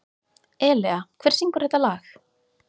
Elea, hver syngur þetta lag?